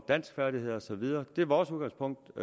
danskfærdigheder og så videre det er vores udgangspunkt